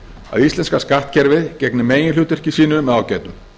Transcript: að íslenska skattkerfið gegni meginhlutverki sínu með ágætum